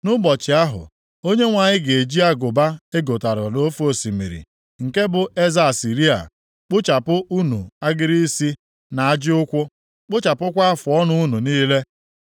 Nʼụbọchị ahụ, Onyenwe anyị ga-eji agụba e gotara nʼofe osimiri, nke bụ eze Asịrịa, kpụchapụ unu agịrị isi na ajị ụkwụ, kpụchapụkwa afụọnụ unu niile.